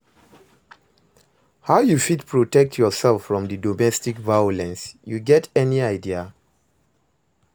How you fit protect yourself from di domestic violence, you get any idea?